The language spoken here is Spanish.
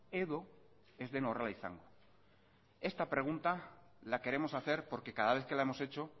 edo ez den horrela izango esta pregunta la queremos hacer porque cada vez que la hemos hecho